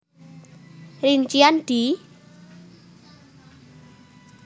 Rincian di